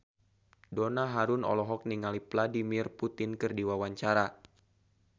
Donna Harun olohok ningali Vladimir Putin keur diwawancara